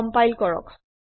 compile কৰক